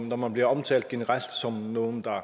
når man bliver omtalt generelt som nogen der